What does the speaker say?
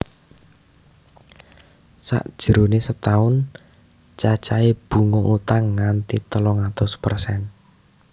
Sajroné setaun cacahé bunga utang nganti telung atus persen